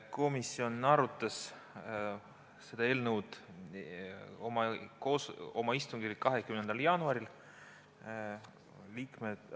Komisjon arutas seda eelnõu oma 20. jaanuari istungil.